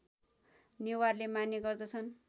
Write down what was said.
नेवारले मान्ने गर्दछन्